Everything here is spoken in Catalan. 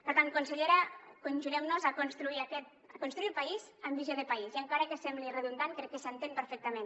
per tant consellera conjurem nos a construir el país amb visió de país i encara que sembli redundant crec que s’entén perfectament